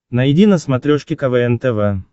найди на смотрешке квн тв